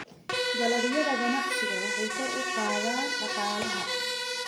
Dalagyada ganacsiga waxay kor u qaadaan dhaqaalaha.